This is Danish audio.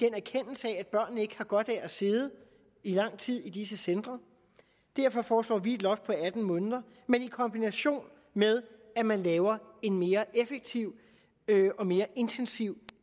erkendelse af at børnene ikke har godt af at sidde i lang tid i disse centre derfor foreslår vi et loft på atten måneder men i kombination med at man laver en mere effektiv og mere intensiv